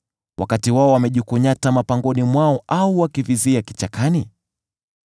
wakati wao wamejikunyata mapangoni mwao, au wakivizia kichakani?